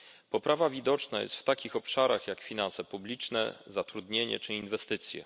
Poprawa widoczna jest w takich obszarach jak finanse publiczne zatrudnienie czy inwestycje.